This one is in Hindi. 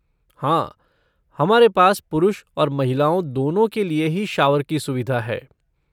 हाँ, हमारे पास पुरुष और महिलाओं दोनों के लिए ही शॉवर की सुविधा है।